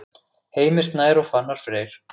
Heimir Snær og Fannar Freyr.